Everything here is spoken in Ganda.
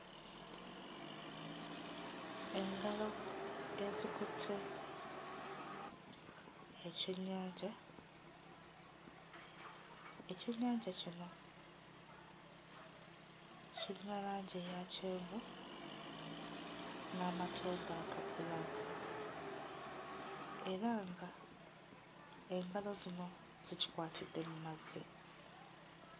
Engalo ezikutte ekyennyanja. Ekyennyanja kino kirina langi eya kyenvu n'amatondo aga bbulaaka era nga engalo zino zikikwatidde mu mazzi.